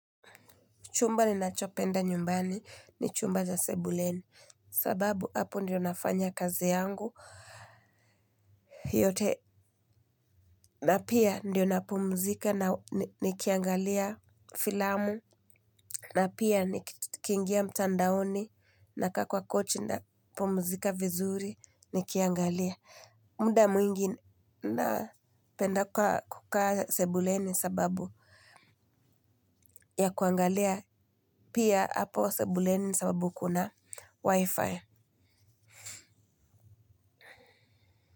Chumba ninachopenda nyumbani ni chumba cha sebuleni. Sababu, hapo ndiyo nafanya kazi yangu. Hii yote, na pia ndiyo napumuzika na nikiangalia filamu. Na pia, nikiingia mtandaoni nakaa kwa kochi napumuzika vizuri, nikiangalia. Muda mwingi napenda kukaa sebuleni sababu ya kuangalia. Pia apo sebuleni sababu kuna wifi.